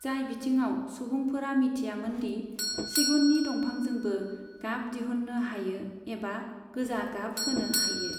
जाय बिथिङाव सुबुंफोरा मिथियामोन दि सिगुननि दंफांजोंबो गाब दिहुननो हायो एबा गोजा गाब होनो हायो।